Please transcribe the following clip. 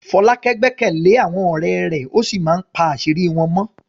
Folake gbẹ́kẹ̀lé àwọn ọ̀rẹ́ rẹ̀ ó sì máa ń pa àṣírí wọn mọ́.